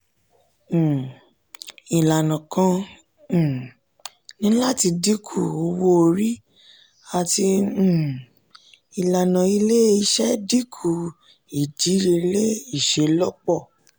um ilana kan um ni lati dinku owo-ori ati um ilana ile-iṣẹ dinku idiyele iṣelọpọ.